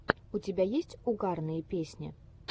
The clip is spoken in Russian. у тебя есть угарные песни